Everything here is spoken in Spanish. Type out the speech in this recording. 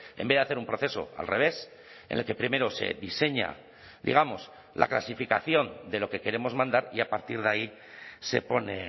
en vez de hacer un proceso al revés en el que primero se diseña digamos la clasificación de lo que queremos mandar y a partir de ahí se pone